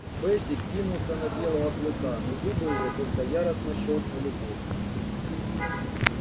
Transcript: бэсик кинулся на белого клыка но зубы его только яростно щёлкнули в воздухе